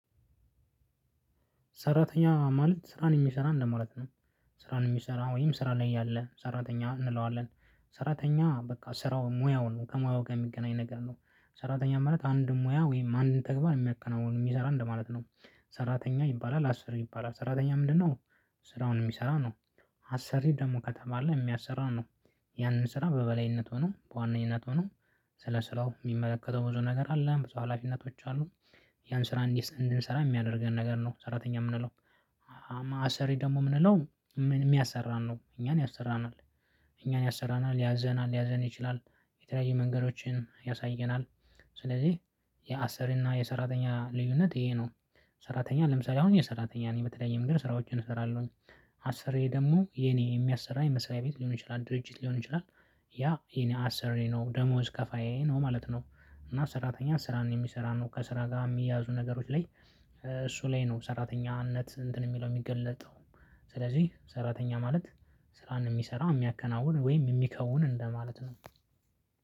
ሰራተኛ ማለት ስራን የሚሰራ እንደማለት ነው። ስራን የሚሰራ ወይም ስራ ላይ ያለ ሰራተኛ እንለዋለን። ሰራተኛ በቃ ስራው ሙያውን ከሙያው ጋር የሚገናኝ ነገር ነው። ሰራተኛ ማለት አንድ ሙያ ወይም አንድ ተግባር የሚያከናውን የሚሰራ እንደማለት ነው። ሰራተኛ ይባላል አስሪ ይባላል ሰራተኛ ምንድነው? ስራውን የሚሰራው ነው። አሰሪ ደግሞ ከተባለ የሚያሰራው ነው። ያንን ስራ በበላይነት ሆኖ በዋነኝነት ሆኖ። ስለ ስራው የሚመለከተው ብዙ ነገር አለ ብዙ ሀላፊነቶች አሉ። ያን ስራ እንድንሰራ የሚያደርገን ነገር ነው ሰራተኛ የምንለው። አሰሪ ደግሞ የምንለው የሚያሰራን ነው እኛን ያሰራናል። እኛን ያሰራናል ያዘናል ሊያዘን ይችላል የተለያዩ መንገዶችን ያሳየናል። ስለዚህ የአሰሪ እና የሰራተኛ ልዩነት ይሄ ነው። ሰራተኛ ለምሳሌ አሁን እኔ ሰራተኛ ነኝ በተለይ መንገድ ስራዎችን እሰራለሁኝ። አሰርየ ደግሞ የኔ የሚያሰራ የመስሪያ ቤት ሊሆን ይችላል ድርጅት ሊሆን ይችላል። ያ የኔ አሰርየ ነው ደሞዝ ከፋዬ ነው ማለት ነው። እና ሰራተኛ ስራን የሚሰራ ነው ከስራ ጋር የሚያዙ ነገሮች ላይ እሱ ላይ ነው ሰራተኛነት እንትን የሚለው የሚገለጠው። ስለዚህ ሰራተኛ ማለት ስራን የሚሰራ የሚያከናውን ወይም የሚከውን እንደማለት ነው።